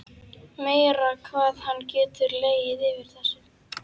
Meira hvað hann getur legið yfir þessu.